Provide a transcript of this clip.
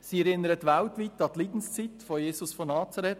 Sie erinnert weltweit an die Leidenszeit von Jesus von Nazareth.